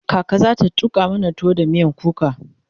kaka zata tuƙa mana tuwo da miyan kuka